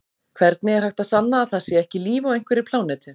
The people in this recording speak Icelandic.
Hvernig er hægt að sanna að það sé ekki líf á einhverri plánetu?